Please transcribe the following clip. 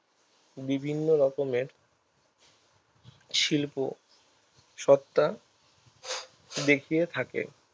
বিভিন্ন রকমের শিল্প সত্তা দেখিয়ে থাকে